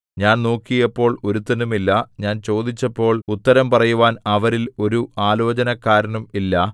ഞാൻ നോക്കിയപ്പോൾ ഒരുത്തനുമില്ല ഞാൻ ചോദിച്ചപ്പോൾ ഉത്തരം പറയുവാൻ അവരിൽ ഒരു ആലോചനക്കാരനും ഇല്ല